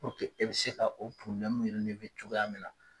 e bɛ se ka o cogoya min na